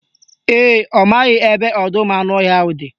Ee, ọ maghị ebe ọdọụmụanụọhịa ahụ dị